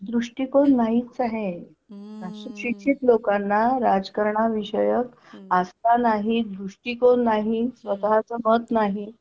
दृष्टिकोन नाहीच आहे अशिक्षित लोकांना राजकारणा विषयक आस्था नाही दृष्टिकोन नाही स्वतःच मत नाही.